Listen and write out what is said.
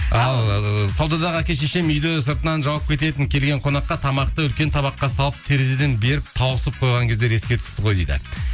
ал саудадағы әке шешем үйді сыртынан жауып кететін келген қонаққа тамақты үлкен табаққа салып терезеден беріп тауысып қойған кездер еске түсті ғой дейді